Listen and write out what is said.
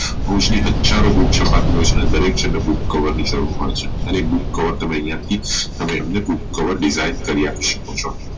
ઇરછા ઓ શકતી હોઈ છે અને દરેક જન ને book cover ની જરૂર હોઈ છે અને એ book cover તમે ત્યાંથી તમે અમને book cover design કરી શકો છો